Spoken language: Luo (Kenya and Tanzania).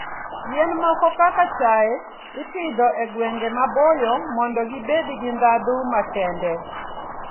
Yien moko kaka chai, ipidho e gwenge maboyo mondo gibed gi ndhadhu makende.